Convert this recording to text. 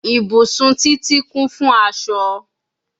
Ibusun Titi kun fun aṣọ